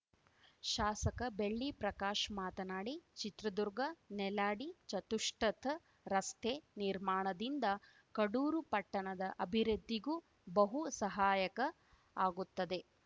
ಶಾಸಕ ಬೆಳ್ಳಿ ಪ್ರಕಾಶ್‌ ಮಾತನಾಡಿ ಚಿತ್ರದುರ್ಗ ನೆಲ್ಯಾಡಿ ಚತುಷ್ಪಥ ರಸ್ತೆ ನಿರ್ಮಾಣದಿಂದ ಕಡೂರು ಪಟ್ಟಣದ ಅಭಿವೃದ್ಧಿಗೂ ಬಹು ಸಹಾಯಕ ಆಗುತ್ತದೆ